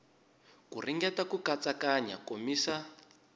ku ringeta ku katsakanya komisa